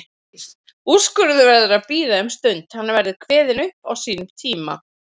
Úrskurðurinn verður að bíða um stund, hann verður kveðinn upp á sínum tíma.